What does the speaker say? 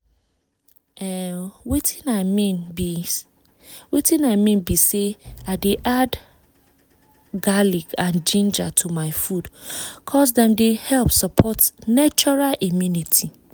em watin i mean be i mean be say i dey add garlic and ginger to my food ’cause dem dey help support natural immunity